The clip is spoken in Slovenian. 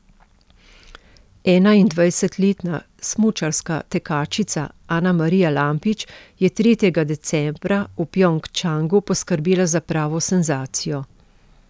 Enaindvajsetletna smučarska tekačica Anamarija Lampič je tretjega decembra v Pjongčangu poskrbela za pravo senzacijo.